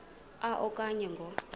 a okanye ngo